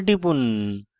enter টিপুন